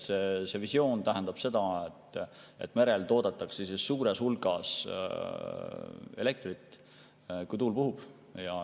Visioon on selline, et merel toodetakse suures hulgas elektrit, kui tuul puhub.